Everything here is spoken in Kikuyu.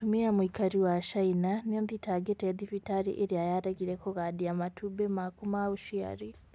Mũtumia mũikari wa China niathitangite thibitarĩ ĩria yaregire kũgadia matumbi makũ ma uciari